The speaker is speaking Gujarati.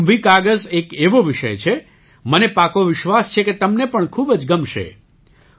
આ કુંભી કાગઝ એક એવો વિષય છે મને પાકો વિશ્વાસ છે કે તમને પણ ખૂબ જ ગમશે